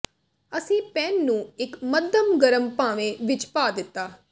ਅਸੀਂ ਪੈਨ ਨੂੰ ਇੱਕ ਮੱਧਮ ਗਰਮ ਭਾਂਵੇਂ ਵਿਚ ਪਾ ਦਿੱਤਾ